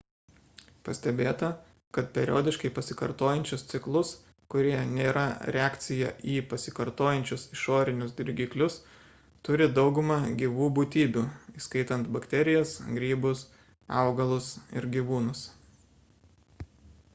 pastebėta kad periodiškai pasikartojančius ciklus kurie nėra reakcija į pasikartojančius išorinius dirgiklius turi dauguma gyvų būtybių įskaitant bakterijas grybus augalus ir gyvūnus